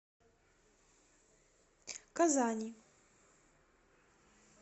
казани